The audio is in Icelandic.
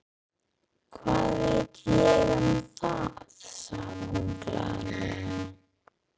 Hvað veit ég um það? sagði hún glaðlega.